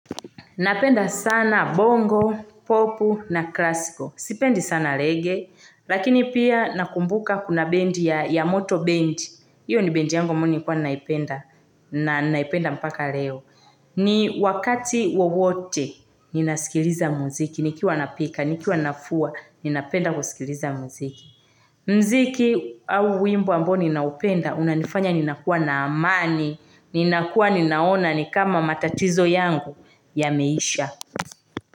Napenda sana bongo, popu na klasiko. Sipendi sana reggae, lakini pia nakumbuka kuna band ya moto band. Hiyo ni band yangu ambayo nilikua naipenda. Na naipenda mpaka leo. Ni wakati wowote, ninasikiliza muziki. Nikiwa napika, nikiwa nafua, ninapenda kusikiliza muziki. Muziki au wimbo ambao ninaupenda, unanifanya ninakuwa na amani. Ninakua ninaona ni kama matatizo yangu yameisha.